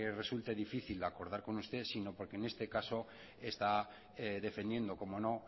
resulte difícil de acordar con usted sino porque en este caso está defendiendo cómo no